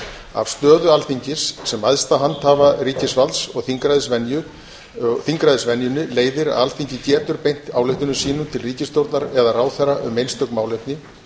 af stöðu alþingis sem æðsta handhafa ríkisvalds og þingræðisvenjunni leiðir að alþingi getur beint ályktunum sínum til ríkisstjórnar eða ráðherra um einstök málefni